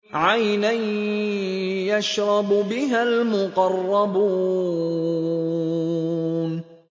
عَيْنًا يَشْرَبُ بِهَا الْمُقَرَّبُونَ